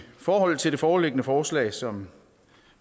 forhold til det foreliggende forslag som